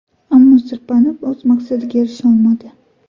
Ammo sirpanib, o‘z maqsadiga erisha olmadi.